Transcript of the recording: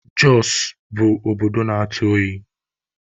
Jọsụ bụ obodo na-atụ oyi.